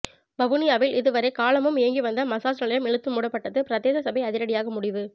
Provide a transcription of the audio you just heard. வவுனியாவில் இதுவரை காலமும் இயங்கி வந்த மசாஜ் நிலையம் இழுத்து மூடப்பட்டது பிரதேச சபை அதிரடியாக முடிவு